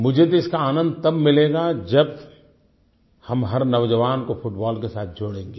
मुझे तो इसका आनंद तब मिलेगा जब हम हर नौजवान को फुटबॉल के साथ जोड़ेंगें